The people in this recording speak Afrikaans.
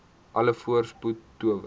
alle voorspoed toewens